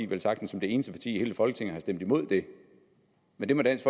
velsagtens som det eneste parti i hele folketinget har stemt imod det men det må dansk